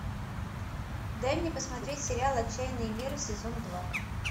дай мне посмотреть сериал отчаянные меры сезон два